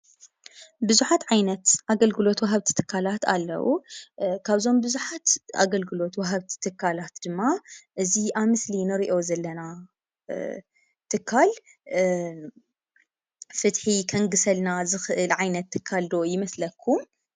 ብዙሓት ዓይነት ኣገልግሎት ወሃብቲ ትካላት ኣለዉ፡፡ ካብዞም ብዙሓት ኣገልግሎት ወሃብቲ ትካላት ድማ እዚ ኣብ ምስሊ ንሪኦ ዘለና ትካል ፍትሒ ከንግሰልና ዝኽእል ዓይነት ትካል ዶ ይመስለኩም?